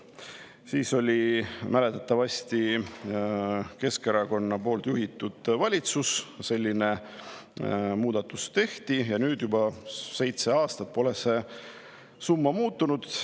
Siis oli mäletatavasti Keskerakonna juhitud valitsus, kui selline muudatus tehti, ja nüüd juba seitse aastat pole see summa muutunud.